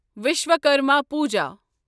Vishwakarma Puja